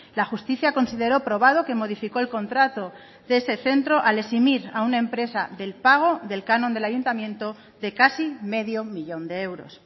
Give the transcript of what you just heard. la justicia consideró probado que modificó el contrato de ese centro al eximir a una empresa del pago del canon del ayuntamiento de casi medio millón de euros